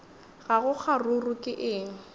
ga go kgaruru ke eng